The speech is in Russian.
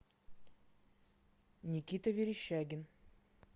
никита верещагин